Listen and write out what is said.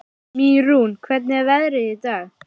Mýrún, hvernig er veðrið í dag?